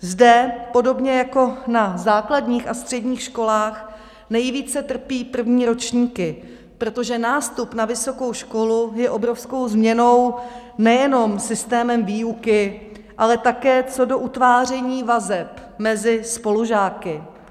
Zde, podobně jako na základních a středních školách, nejvíce trpí první ročníky, protože nástup na vysokou školu je obrovskou změnou nejenom systémem výuky, ale také co do utváření vazeb mezi spolužáky.